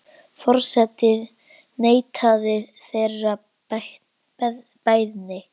Forseti neitaði þeirri beiðni.